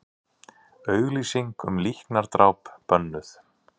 Auglýsing um líknardráp bönnuð